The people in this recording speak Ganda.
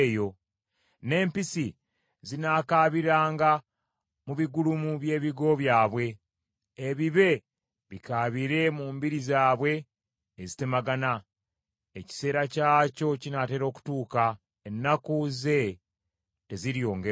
N’empisi zinaakaabiranga mu bigulumu by’ebigo byabwe, ebibe bikaabire mu mbiri zaabwe ezitemagana. Ekiseera kyakyo kinaatera okutuuka, ennaku ze teziryongerwako.